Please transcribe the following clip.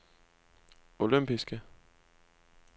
olympiske